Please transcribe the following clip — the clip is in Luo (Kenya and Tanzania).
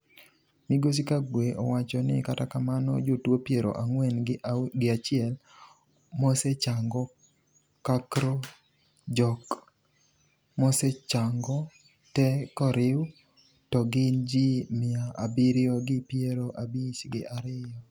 migosi kagwe owacho ni kata kamano jotuo piero ang'wen gi achiel mosechango kakro jok mosechango te koriw to gin jii mia abirio gi piero abich gi ariyo